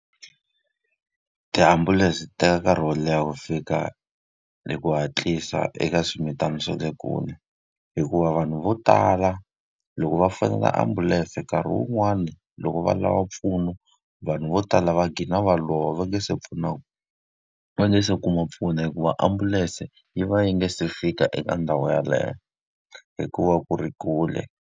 Tiambulense ti teka nkarhi wo leha ku fika hi ku hatlisa eka swimitana swa le kule, hikuva vanhu vo tala loko va fonela ambulense nkarhi wun'wani loko va lava mpfuno, vanhu vo tala va dhlina va lova va nge se va nge se kuma mpfuno. Hikuva ambulense yi va yi nga se fika eka ndhawu yeleyo, hikuva ku ri kule.